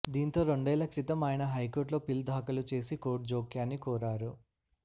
దీంతో రెండేళ్ల క్రితం ఆయన హైకోర్టులో పిల్ దాఖలు చేసి కోర్టు జోక్యాన్ని కోరారు